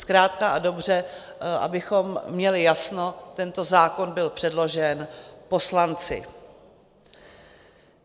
Zkrátka a dobře, abychom měli jasno, tento zákon byl předložen poslanci.